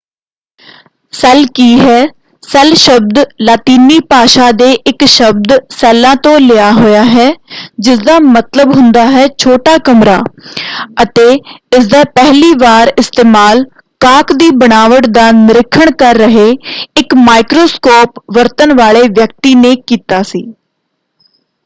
Cell ਕੀ ਹੈ? Cell ਸ਼ਬਦ ਲਾਤੀਨੀ ਭਾਸ਼ਾ ਦੇ ਇੱਕ ਸ਼ਬਦ ਸੈੱਲਾ” ਤੋਂ ਲਿਆ ਹੋਇਆ ਹੈ” ਜਿਸਦਾ ਮਤਲਬ ਹੁੰਦਾ ਹੈ ਛੋਟਾ ਕਮਰਾ” ਅਤੇ ਇਸ ਦਾ ਪਹਿਲੀ ਵਾਰ ਇਸਤੇਮਾਲ ਕਾਕ ਦੀ ਬਣਾਵਟ ਦਾ ਨਿਰੀਖਣ ਕਰ ਰਹੇ ਇੱਕ ਮਾਈਕਰੋਸਕੋਪ ਵਰਤਣ ਵਾਲੇ ਵਿਅਕਤੀ ਨੇ ਕੀਤਾ ਸੀ।